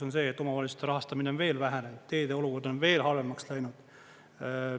On see, et omavalitsuste rahastamine on veel vähenenud, teede olukord veel halvemaks läinud.